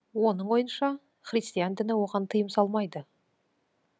оның ойынша христиан діні оған тыйым салмайды